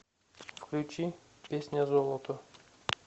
включи песня золото